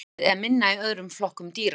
hlutfallið er minna í öðrum flokkum dýra